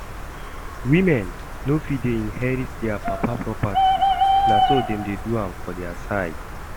Women no dey fit inherit dia papa property, na so dem dey do am for dia side